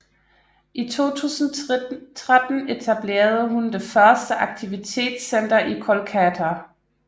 I 2013 etablerede hun det første aktivitetscenter i Kolkata